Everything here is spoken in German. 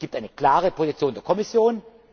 Es gibt eine klare Position der Kommission.